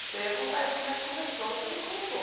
Você ia contar isso como é que começou, você não contou.